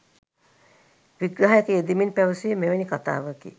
විග්‍රහයක යෙදෙමින් පැවසුවේ මෙවැනි කතාවකි.